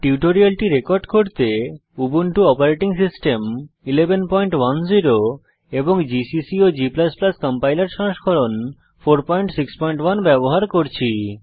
টিউটোরিয়ালটি রেকর্ড করতে Ubuntu operating system 1110 এবং জিসিসি ও g কম্পাইলার সংস্করণ 461 ব্যবহার করছি